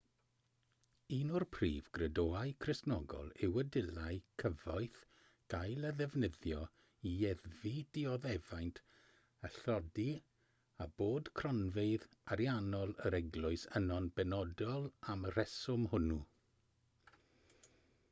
un o'r prif gredoau cristnogol yw y dylai cyfoeth gael ei ddefnyddio i leddfu dioddefaint a thlodi a bod cronfeydd ariannol yr eglwys yno'n benodol am y rheswm hwnnw